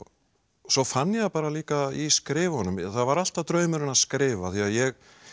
svo fann ég það bara líka í skrifunum það var alltaf draumurinn að skrifa af því ég